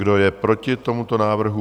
Kdo je proti tomuto návrhu?